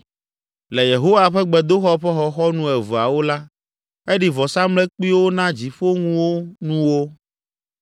Le Yehowa ƒe gbedoxɔ ƒe xɔxɔnu eveawo la, eɖi vɔsamlekpuiwo na dziƒoŋunuwo.